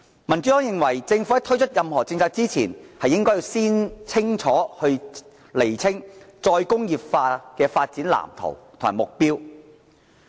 民主黨認為政府在推出任何政策前，應該先釐清再工業化的發展藍圖和目標。